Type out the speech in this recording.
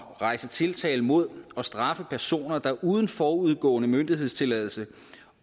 rejse tiltale mod og straffe personer der uden forudgående myndighedstilladelse